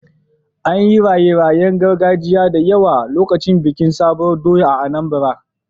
An yi raye-rayen gargajiya da yawa lokacin bikin sabuwar doya a Anambra.